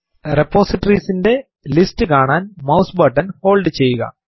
repositories ന്റെ list കാണാൻ mouse button hold ചെയ്യുക